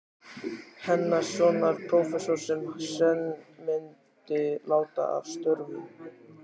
Hannessonar, prófessors, sem senn myndi láta af störfum.